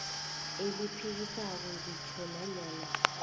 eliphikisako ngitjho nanyana